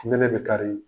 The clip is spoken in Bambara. Nɛnɛ bɛ kari